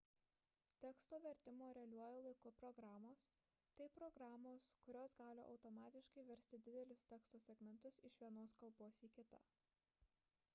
teksto vertimo realiuoju laiku programos – tai programos kurios gali automatiškai versti didelius teksto segmentus iš vienos kalbos į kitą